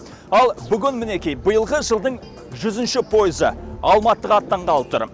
ал бүгін мінекей биылғы жылдың жүзінші пойызы алматыға аттанғалы тұр